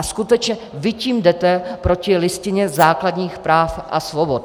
A skutečně vy tím jdete proti Listině základních práv a svobod.